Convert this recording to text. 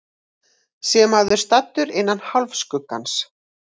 sé maður staddur innan hálfskuggans